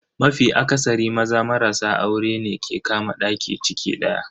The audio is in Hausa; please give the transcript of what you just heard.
Mafi akasari, Maza marasa aurene ke kama daki ciki daya.